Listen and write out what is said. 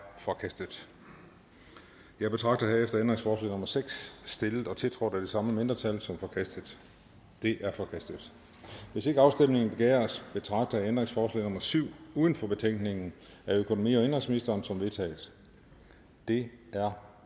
forkastet jeg betragter herefter ændringsforslag nummer seks stillet og tiltrådt af de samme mindretal som forkastet det er forkastet hvis ikke afstemning begæres betragter jeg ændringsforslag nummer syv uden for betænkningen af økonomi og indenrigsministeren som vedtaget det er